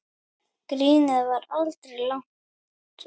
Grínið var aldrei langt undan.